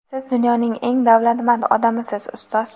Siz dunyoning eng davlatmand odamisiz - ustoz!.